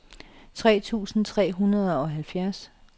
tre tusind tre hundrede og halvtreds